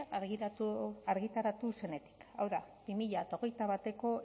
argitaratu zenetik hau da bi mila hogeita bateko